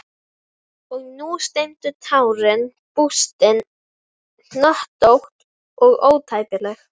Og nú streymdu tárin, bústin, hnöttótt og ótæpileg.